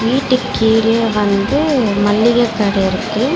வீட்டுக் கீழ வந்து மள்ளிக கட இருக்கு.